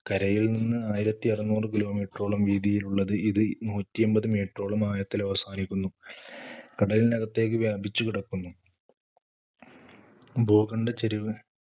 കരയിൽ നിന്ന് ആയിരത്തി അറുനൂറ് kilometer ഓളം വീതിയിലുള്ള ഇത് നൂറ്റി എമ്പത്‌ meter ഓളം ആഴത്തിലവസാനിക്കുന്നു. കടലിനകത്തേക്ക് വ്യാപിച്ചു കിടക്കുന്നു ഭൂഖണ്ഡച്ചെരിവ്